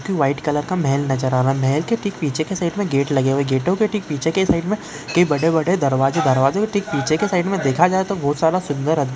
white colour का महल नजर आ रहा है महल के पीछे के साइड में गेट लगे हुए गेटों के ठीक पीछे के साइड में के बड़े बड़े दरवाजे दरवाजे के पीछे के साइड में देखा जाए तो बहुत सारा सुंदर--